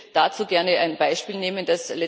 Ich würde dazu gerne ein Beispiel nennen.